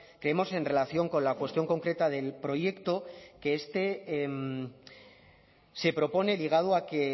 creemos en relación con la cuestión concreta del proyecto que este se propone ligado a que